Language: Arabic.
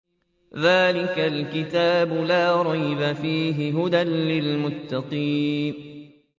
ذَٰلِكَ الْكِتَابُ لَا رَيْبَ ۛ فِيهِ ۛ هُدًى لِّلْمُتَّقِينَ